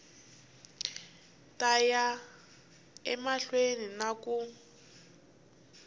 ta ya emahlweni na ku